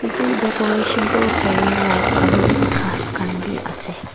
etu decoration toh fairy lights aro khas khanbi ase.